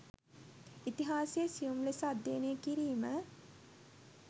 ඉතිහාසය සියුම් ලෙස අධ්‍යනය කිරිම